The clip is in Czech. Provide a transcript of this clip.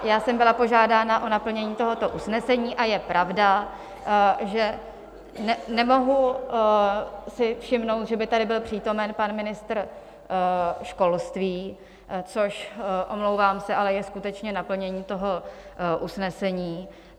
Já jsem byla požádána o naplnění tohoto usnesení a je pravda, že nemohu si všimnout, že by tady byl přítomen pan ministr školství, což, omlouvám se, ale je skutečně naplnění toho usnesení.